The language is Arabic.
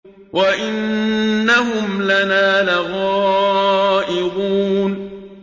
وَإِنَّهُمْ لَنَا لَغَائِظُونَ